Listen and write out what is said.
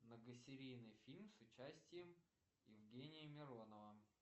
многосерийный фильм с участием евгения миронова